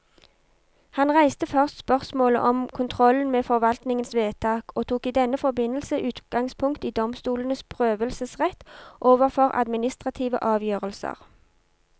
Han reiste først spørsmålet om kontrollen med forvaltningens vedtak, og tok i denne forbindelse utgangspunkt i domstolenes prøvelsesrett overfor administrative avgjørelser.